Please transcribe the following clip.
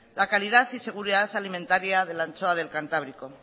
la calidad y seguridad alimentaria de la anchoa del cantábrico